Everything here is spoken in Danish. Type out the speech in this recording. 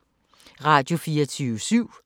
Radio24syv